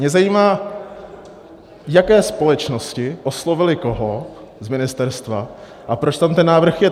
Mě zajímá, jaké společnosti oslovily koho z ministerstva a proč tam ten návrh je.